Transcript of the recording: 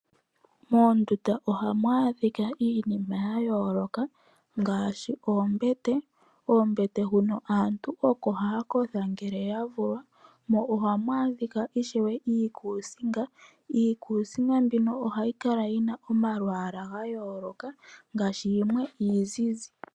Moondunda ohamu adhika iinima ya yooloka ngaashi oombete. Koombete huno aantu oko haya kotha ngele ya vulwa, mo ohamu adhika ishewe iikusinga. Iikusinga mbino ohayi kala tina omalwaala ga yooloka ngaashi yimwe iizizi.